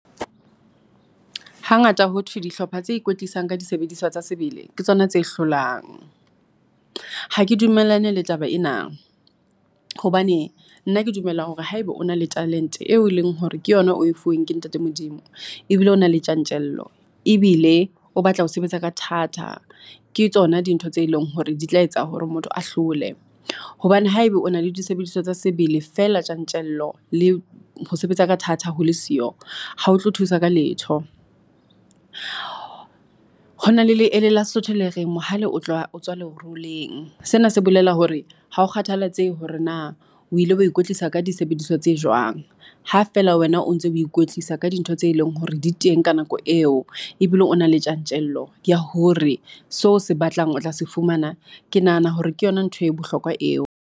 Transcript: Hangata ho thwe dihlopha tse ikwetlisang ka disebediswa tsa sebele ke tsona tse hlolang. Ha ke dumellane le taba ena, hobane nna ke dumela hore haebe o na le talent-e eo e leng hore ke yona oe fuweng ke ntate Modimo ebile o na le tjantjello ebile o batla ho sebetsa ka thata. Ke tsona dintho tse leng hore di tla etsa hore motho a hlole, hobane haeba o na le disebediswa tsa sebele feela tjantjello le ho sebetsa ka thata ho le siyo, ha o tlo thusa ka letho. Hona le leele la Sesotho le reng mohale o tla o tswa le leroleng. Sena se bolela hore hao kgathalatsehe hore na o ile wa ikwetlisa ka disebediswa tse jwang, ha feela wena o ntse ho ikwetlisa ka dintho tse leng hore di teng ka nako eo ebile o na le tjantjello ya hore seo o se batlang o tla se fumana. Ke nahana hore ke yona ntho e bohlokwa eo.